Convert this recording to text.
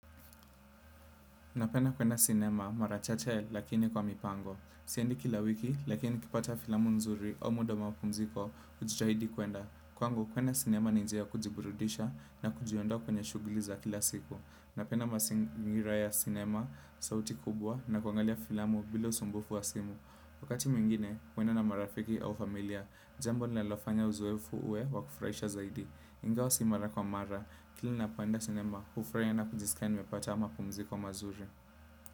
Napenda kwenda cinema marachache lakini kwa mipango. Siendi kila wiki lakini nikipata filamu nzuri au muda wapumziko ujitahidi kwenda. Kwangu kwenda cinema ni njia kujiburudisha na kujiondoa kwenye shugli za kila siku. Napenda masingira ya cinema sauti kubwa na kwangalia filamu bila usumbufu wa simu. Wakati mwingine kwenda na marafiki au familia. Jambo linalofanya uzoefu uwe wakufraisha zaidi. Ingao si mara kwa mara, kili napoenda sinema, ufraiya na kujisikia nimepata ma pumziko mazuri.